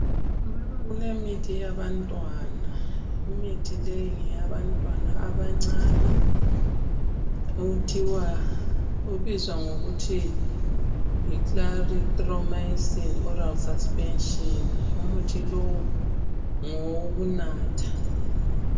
Lapha kulemithi yabantwana, imithi leyi ngeyabantwana abancane obizwa ngokuthi yi Clarithromycin oral suspension. Umuthi lowu ngowokunatha.